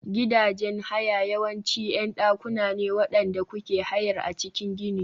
Gidajen haya yawanci ƴan dakuna ne waɗanda kuke hayar a cikin gini.